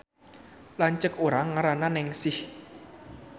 Lanceuk urang ngaranna Nengsih